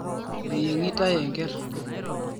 Eyiengitae enker